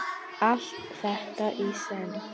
Allt þetta í senn?